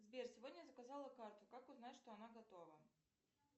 сбер сегодня заказала карту как узнать что она готова